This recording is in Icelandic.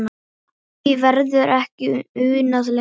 Því verður ekki unað lengur.